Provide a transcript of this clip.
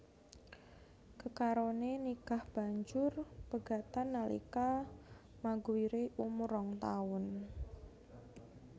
Kekarone nikah banjur pegatan nalika Maguire umur rong taun